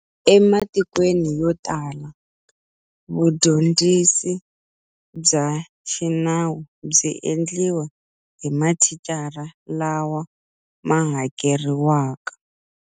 E matikweni yo tala, vundyondzisi bya xi nawu byi endliwa hi mathicara lawa ma hakeriwaka.